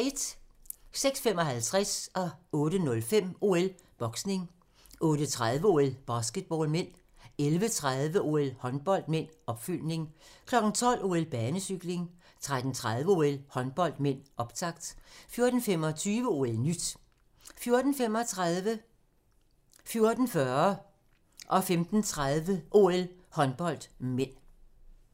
06:55: OL: Boksning 08:05: OL: Boksning 08:30: OL: Basketball (m) 11:30: OL: Håndbold (m), opfølgning 12:00: OL: Banecykling 13:30: OL: Håndbold (m), optakt 14:25: OL-nyt 14:35: OL: Håndbold (m) 14:40: OL: Håndbold (m) 15:30: OL: Håndbold (m), opfølgning